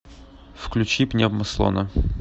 включи пневмослона